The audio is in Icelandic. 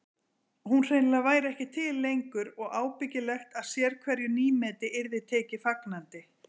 Hún hreinlega væri ekki til lengur og ábyggilegt að sérhverju nýmeti yrði tekið fagnandi.